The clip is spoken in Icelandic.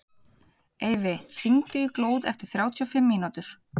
Eyfi, hringdu í Glóð eftir þrjátíu og fimm mínútur.